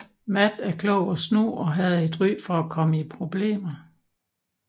Matt er klog og snu og havde et ry for at komme i problemer